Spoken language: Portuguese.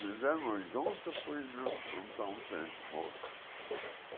Vivemos juntos, pois não não.